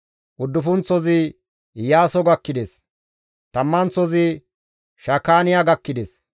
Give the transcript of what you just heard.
Uddufunththozi Iyaaso gakkides; tammanththozi Shakaaniya gakkides;